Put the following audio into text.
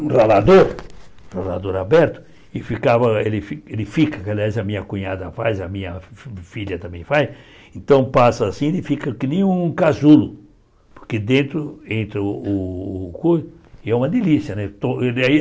um ralador, ralador aberto, e ficava, ele ele fica, que aliás a minha cunhada faz, a minha fi filha também faz, então passa assim e fica que nem um casulo, porque dentro, entra o couro, e é uma delícia, né? To aí ele